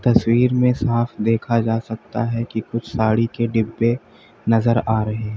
तस्वीर में साफ देखा जा सकता है कि कुछ साड़ी के डिब्बे नजर आ रहे हैं।